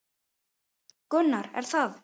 Gunnar: Er það?